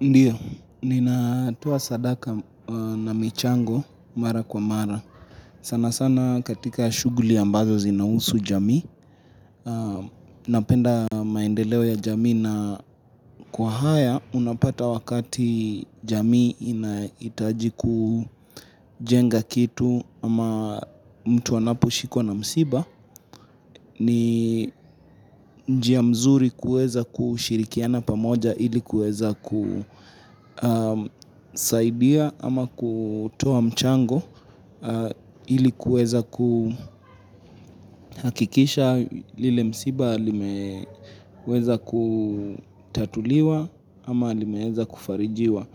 Ndiyo, ninatoa sadaka na michango, mara kwa mara. Sana sana katika shuguli ambazo zinausu jamii, napenda maendeleo ya jamii na kwa haya unapata wakati jamii inaitaji kujenga kitu ama mtu anaposhikwa na msiba. Ni njia mzuri kueza kushirikiana pamoja ili kueza kusaidia ama kutoa mchango ili kueza kuhakikisha lile msiba limeweza kutatuliwa ama limeeza kufarijiwa